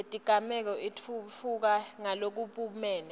yetigameko itfutfuka ngalokubumbene